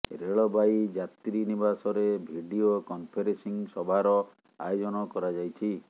ରେଳବାଇ ଯାତ୍ରୀ ନିବାସରେ video conferencing ସଭାର ଆୟୋଜନ କରାଯାଇଛି